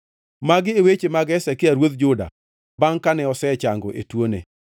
Magi e weche mag Hezekia ruodh Juda bangʼ kane osechango e tuone: